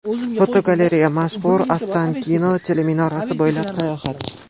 Fotogalereya: Mashhur Ostankino teleminorasi bo‘ylab sayohat.